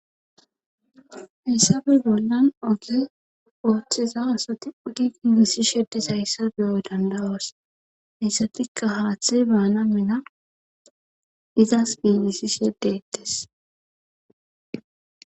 Hayssafe bollan oge ooththeza asati uttdi giigisi shsh dizayssa beyo dandoos hayssafikka haaththe baana mella izas giigisishe dettees